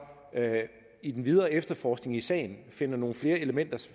i den videre efterforskning i sagen finder nogle flere elementer